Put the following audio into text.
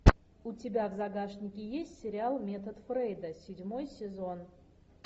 у тебя в загашнике есть сериал метод фрейда седьмой сезон